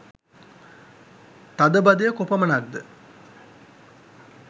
තදබදය කොපමණක්ද?